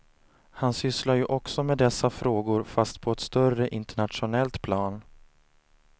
Han sysslar ju också med dessa frågor fast på ett större internationellt plan.